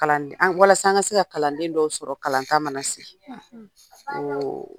Kaland an walasa an ka se ka kalanden dɔw sɔrɔ kalanta mana sigi. oo